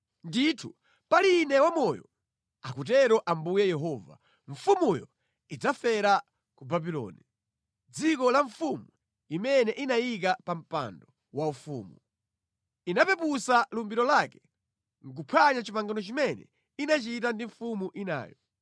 “ ‘Ndithu pali Ine wamoyo, akutero Ambuye Yehova, mfumuyo idzafera ku Babuloni, mʼdziko la mfumu imene inayika pa mpando waufumu. Inapeputsa lumbiro lake nʼkuphwanya pangano limene inachita ndi mfumu inayo.